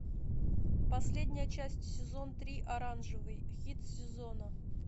последняя часть сезон три оранжевый хит сезона